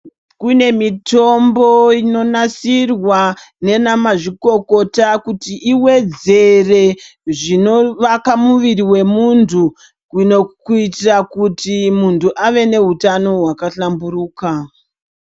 Kune mitombo inonasirwa nana mazvikokota kuti iwedzere zvinovaka muviri wemuntu kuitira kuti muntu ave neutano hwakahlamburuka.